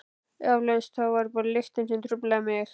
Eflaust var það bara lyktin sem truflaði mig.